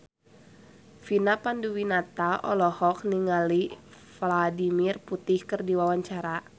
Vina Panduwinata olohok ningali Vladimir Putin keur diwawancara